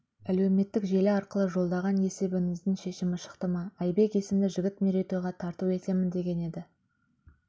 әлеуметтік желі арқылы жолдаған есебіңіздің шешімі шықты ма айбек есімді жігіт мерейтойға тарту етемін деген еді